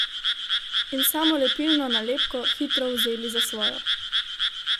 In samolepilno nalepko hitro vzeli za svojo.